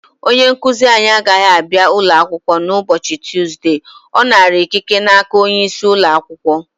Onye nkuzi anyị agaghị abịa ụlọ akwụkwọ n' ụbọchị Tụzde ọ nara ikike n'aka onye isi ụlọ akwụkwọ